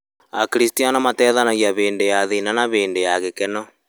Akristiano mateithanagia hĩndĩ ya thĩna na hĩndĩ ya gĩkeno